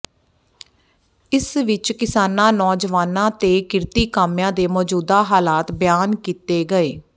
ਇਸ ਵਿੱਚ ਕਿਸਾਨਾਂ ਨੌਜਵਾਨਾਂ ਤੇ ਕਿਰਤੀ ਕਾਮਿਆਂ ਦੇ ਮੌਜੂਦਾ ਹਾਲਾਤ ਬਿਆਨ ਕੀਤੇ ਗਏ